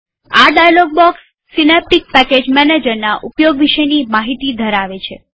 આ dialogue box Synaptic package મેનેજરના ઉપયોગ વિશેની માહિતી ધરાવે છે